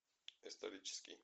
исторический